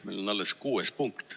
Meil on alles 6. punkt.